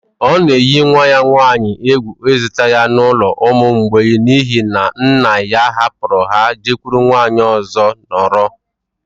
Ọ na eyi nwa ya nwaanyị egwu ịzụta ya na n’ụlọ ụmụ mgbei n’ihi na nna ya hapụrụ ha jekwuru nwaanyị ọzọ nọrọ